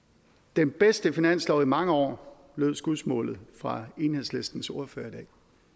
den bedste finanslov i mange år lød skudsmålet fra enhedslistens ordfører i dag